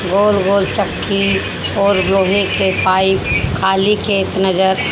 गोल-गोल चक्की और लोहे के पाइप खाली खेत नजर --